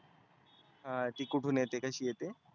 हा ती कुठून येते कशी येते.